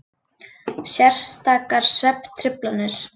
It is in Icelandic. Sértækar svefntruflanir.